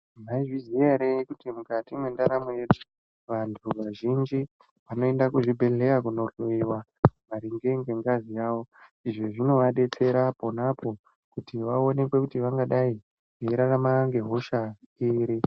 Mwaizviziya ere kuti mukati mwendaramo yedu vantu vazhinji vanoenda kuzvibhedhleya kundohloyiwa maringe ngengazi yavo, izvi zvinovadetsera ponapo kuti vaonekwe kuti vangadai veirarama ngehosha iri.